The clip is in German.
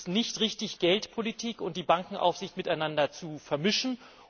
Es ist nicht richtig, Geldpolitik und Bankenaufsicht miteinander zu vermischen.